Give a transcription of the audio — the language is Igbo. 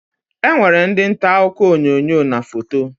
E nwere ndị ntaakụkọ onyoonyo na foto